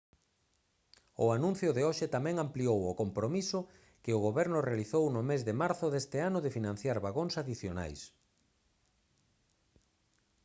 o anuncio de hoxe tamén ampliou o compromiso que o goberno realizou no mes de marzo deste ano de financiar vagóns adicionais